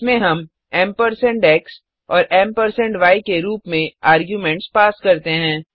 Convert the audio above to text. इसमें हम ampersand x और एम्परसैंड य के रूप में आर्गुमेंट्स पास करते हैं